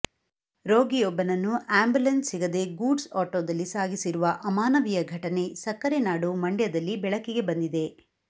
ರೋಗಿಯೊಬ್ಬನನ್ನು ambulance ಸಿಗದೇ goods ಆಟೋದಲ್ಲಿ ಸಾಗಿಸಿರುವ ಅಮಾನವೀಯ ಘಟನೆ ಸಕ್ಕರೆ ನಾಡು ಮಂಡ್ಯದಲ್ಲಿ ಬೆಳಕಿಗೆ ಬಂದಿದೆ